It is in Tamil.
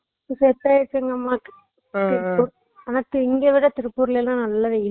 அப்புடி தா இருந்துச்சு அஹ் நீங்க திருப்பூர்ல இருந்திங்களா அஹ் திருப்பூர்ல இருந்தா அப்போ company க்கு வேலைக்கு போனா